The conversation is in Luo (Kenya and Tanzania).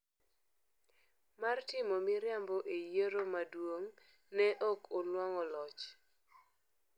mar timo miriambo e yiero maduong’, ne ok onwang'o loch.